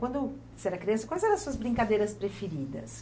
Quando você era criança, quais eram as suas brincadeiras preferidas?